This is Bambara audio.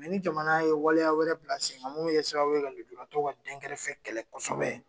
ni jamana ye waleya wɛrɛ bila sen kan mun bɛ kɛ sababuye ka lujuratɔw ka den kɛrɛfɛ kɛlɛ kosɛbɛ.